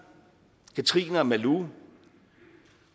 katrine og malou